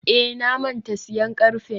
eh, na manta siyan karfen.